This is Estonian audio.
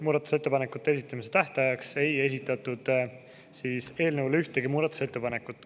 Muudatusettepanekute esitamise tähtajaks ei esitatud eelnõu kohta ühtegi muudatusettepanekut.